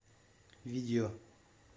видео